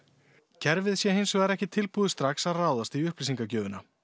kerfið sé hins vegar ekki tilbúið strax að ráðast í upplýsingagjöfina